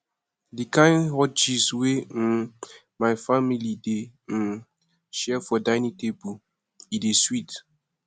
di kain hot gist wey um my family dey um share for dining table e dey sweet